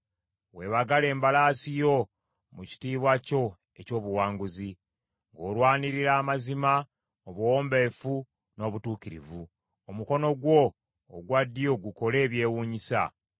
Weebagale embalaasi yo mu kitiibwa kyo eky’obuwanguzi, ng’olwanirira amazima, obuwombeefu, n’obutuukirivu. Omukono gwo ogwa ddyo gukole ebyewuunyisa.